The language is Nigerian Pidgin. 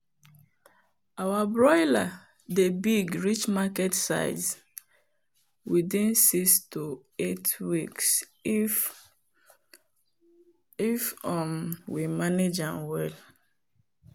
our broiler dey big reach market size within six to eight weeks if um we manage am well.